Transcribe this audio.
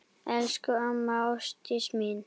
Elsku amma Ásdís mín.